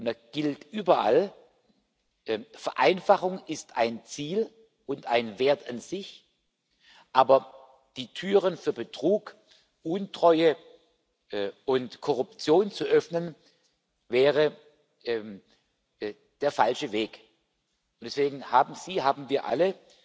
Da gilt überall Vereinfachung ist ein Ziel und ein Wert an sich, aber die Türen für Betrug, Untreue und Korruption zu öffnen, wäre der falsche Weg. Und deswegen haben Sie sich, haben wir